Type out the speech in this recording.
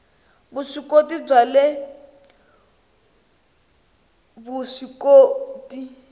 vuswikoti bya le vusw ikoti